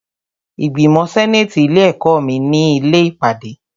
Ìgbìmọ̀ sẹ́nàtì ilé ẹ̀kọ́ mi ni ilé ìpàdé.